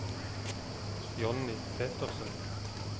Johnny Petersen